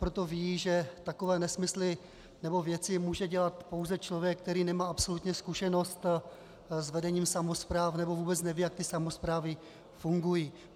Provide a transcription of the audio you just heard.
Proto vědí, že takové nesmysly nebo věci může dělat pouze člověk, který nemá absolutně zkušenost s vedením samospráv, nebo vůbec neví, jak ty samosprávy funguji.